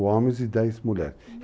4 homens e 10 mulheres.